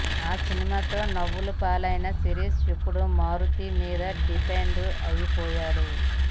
ఆ సినిమాతో నవ్వుల పాలైన శిరీష్ ఇప్పుడు మారుతి మీద డిపెండ్ అయిపోయాడు